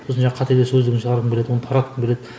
сосын жаңағы қателер сөздігін шығарғым келеді оны таратқым келеді